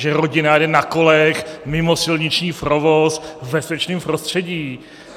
Že rodina jede na kolech mimo silniční provoz, v bezpečném prostředí?